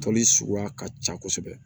Toli suguya ka ca kosɛbɛ